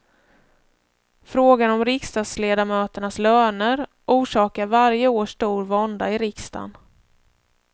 Frågan om riksdagsledamöternas löner orsakar varje år stor vånda i riksdagen.